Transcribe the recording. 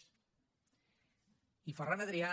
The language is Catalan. i ferran adrià